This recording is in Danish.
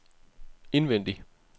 indvendig